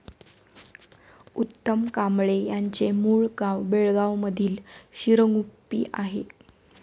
उत्तम कांबळे यांचे मूळ गाव बेळगांवमधील शिरगुप्पी आहे.